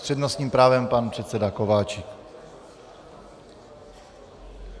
S přednostním právem pan předseda Kováčik.